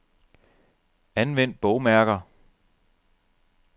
Anvend bogmærker.